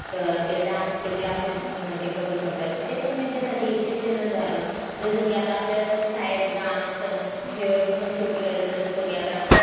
तर ते dance classes ते करू शकतात ते पण त्यांच्यासाठी एक शिक्षण झालं जसं की आता आपल्याला पण शाळेत dance अन हे पण शिकवले जातात जसं की आता